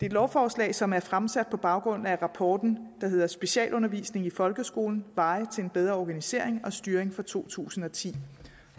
et lovforslag som er fremsat på baggrund af rapporten der hedder specialundervisning i folkeskolen veje til en bedre organisering og styring fra to tusind og ti